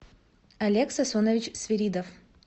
олег сасунович свиридов